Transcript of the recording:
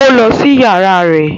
Ó lọ sí yàrá rẹ̀